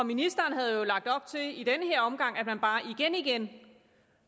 ministeren havde jo i den her omgang at man bare igen igen